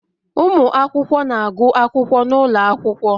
Ụmụ akwụkwọ na-agụ akwụkwọ n'ụlọ akwụkwọ